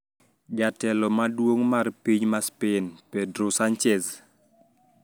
Jatelo maduong` mar piny ma Spain Pedro Sanchez